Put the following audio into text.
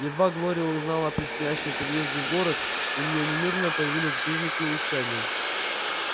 едва глория узнала о предстоящем переезде в город у нее немедленно появились признаки улучшения